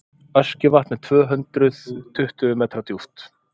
öskjuvatn er tvö hundruð tuttugu metra djúpt